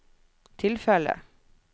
tilfellet